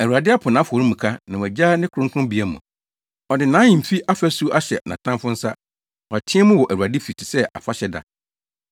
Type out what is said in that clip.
Awurade apo nʼafɔremuka na wagyaa ne kronkronbea mu. Ɔde nʼahemfi afasu ahyɛ nʼatamfo nsa. Wɔteɛ mu wɔ Awurade fi te sɛ afahyɛ da.